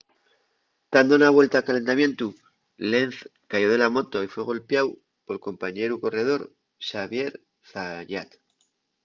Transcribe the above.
tando na vuelta de calentamientu lenz cayó de la moto y fue golpiáu pol compañeru corredor xavier zayat